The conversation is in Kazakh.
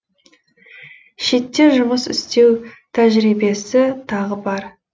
шетте жұмыс істеу тәжірибесі тағы бар